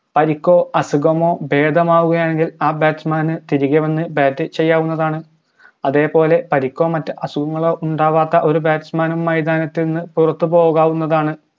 പരിക്കോ അസുഖമോ ഭേദമാകുകയാണെങ്കിൽ ആ batsman തിരികെ വന്ന് bat ചെയ്യാവുന്നതാണ് അതേപോലെ പരിക്കോ മറ്റസുഖങ്ങളോ ഉണ്ടാവാത്ത ഒര് batsman നും മൈതാനത്തിൽ നിന്ന് പുറത്ത് പോകാവുന്നതാണ്